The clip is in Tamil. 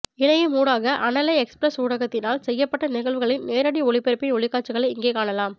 இணையம் ஊடாக அனலை எக்ஸ்பிரஸ் ஊடகத்தினால் செய்யப்பட்ட நிகழ்வுகளின் நேரடி ஒலிபரப்பின் ஒளிக்காட்சிகளை இங்கே காணலாம்